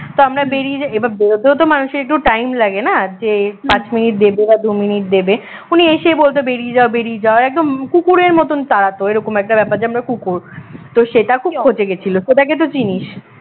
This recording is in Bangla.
তা আমরা বেরিয়ে যাই এবার বেরোতেও তো মানুষের একটু time লাগে না যে পাঁচ মিনিট দেবে বা দুই মিনিট দেবে উনি এসেই বলবে বেরিয়ে যা বেরিয়ে যা একদম কুকুরের মতন তাড়াত এরকম একটা ব্যাপার যে আমরা কুকুর তো শ্বেতা খুব খচে গেছিল শ্বেতাকে তো চিনিস